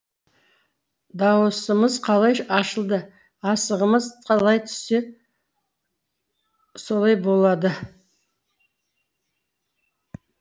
дауысымыз қалай асығымыз қалай түссе солай болады